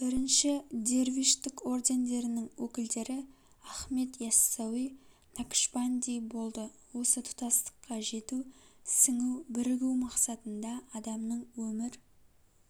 бірінші дервиштік ордендерінің өкілдері ахмет иассауи накшбанди болды осы тұтастыққа жету сіңу бірігу мақсатында адамның өмір